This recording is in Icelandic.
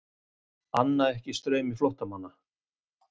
Anna ekki straumi flóttamanna